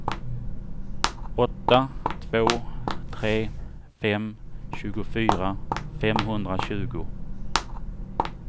åtta två tre fem tjugofyra femhundratjugo